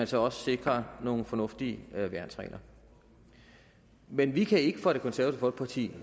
så også sikrer nogle fornuftige værnsregler men vi kan ikke fra det konservative